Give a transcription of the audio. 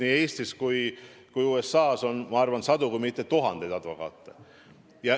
Nii Eestis kui ka USA-s on, ma arvan, sadu, kui mitte tuhandeid advokaate.